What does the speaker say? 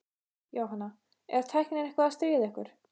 Jóhanna: Er tæknin eitthvað að stríða ykkur?